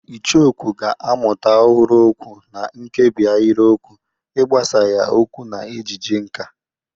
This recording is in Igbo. Icheokwú ga-amụta ọhụrụ okwu na nkebi ahịrịokwu, ịgbasa ya okwu na ejije nkà.